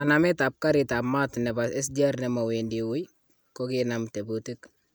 Kanamet ab garitab mat nebo SGR'nemowendi wui ,kokinam tebutik .